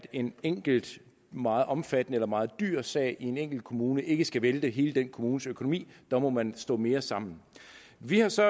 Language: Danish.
en enkelt meget omfattende eller meget dyr sag i en enkelt kommune ikke skal vælte hele den kommunes økonomi der må man stå mere sammen vi har så